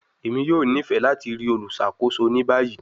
Emi yoo nifẹ lati rii oluṣakoso ni bayi